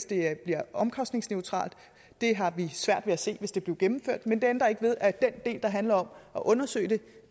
det bliver omkostningsneutralt det har vi svært ved at se hvis det blev gennemført men det ændrer ikke ved at den del der handler om at undersøge det